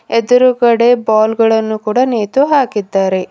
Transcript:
ಎದ್ರುಗಡೆ ಬಾಲ್ ಗಳನ್ನು ಕೂಡ ನೇತುಹಾಕಿದ್ದಾರೆ.